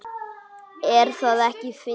Er það ekki fyndið?